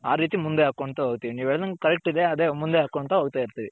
ಆ ರೀತಿ ಮುಂದೆ ಅಕೊಂಡ್ ಹೋಗ್ತಿವಿ ನೀವ್ ಹೇಳ್ದಂಗೆ correct ಇದೆ ಮುಂದೆ ಹಕೊನ್ಥ ಹೋಗ್ತೈರ್ತಿವಿ.